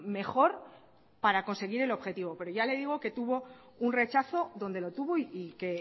mejor para conseguir el objetivo pero ya le digo que tuvo un rechazo donde lo tuvo y que